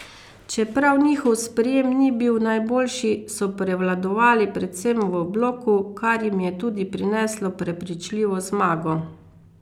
Čeprav njihov sprejem ni bil najboljši, so prevladovali predvsem v bloku, kar jim je tudi prineslo prepričljivo zmago.